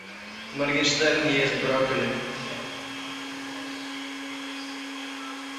моргенштерн ест брокколи